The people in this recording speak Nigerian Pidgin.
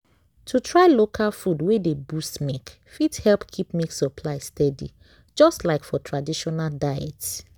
to try local food wey dey boost milk fit help keep milk supply steady just like for traditional diet.